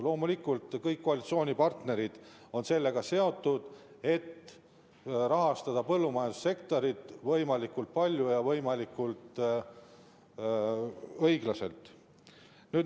Loomulikult, kõik koalitsioonipartnerid on seotud sellega, et rahastada põllumajandussektorit võimalikult palju ja võimalikult õiglaselt.